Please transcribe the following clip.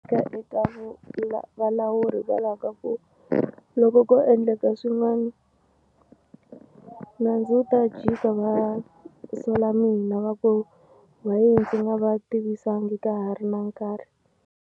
eka valawuri hikwalaho ka ku loko ko endleka swin'wani nandzu wu ta jika va sola mina va ku why ndzi nga va tivisanga ka ha ri na nkarhi.